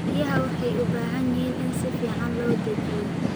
Riyaha waxay u baahan yihiin in si fiican loo dejiyo.